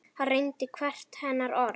Hann reyndi hvert hennar orð.